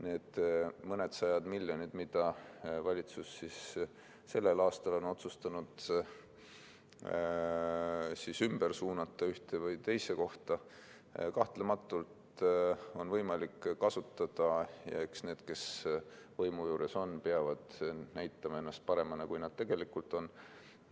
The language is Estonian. Neid mõndasadat miljonit, mida valitsus sellel aastal on otsustanud ümber suunata ühte või teise kohta, on kahtlemata võimalik kasutada ja eks need, kes võimu juures on, peavad näitama ennast paremana, kui nad tegelikult on.